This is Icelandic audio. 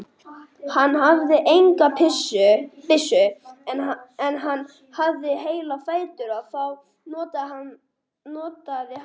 Hann hafði enga byssu en hann hafði heila fætur og þá notaði hann.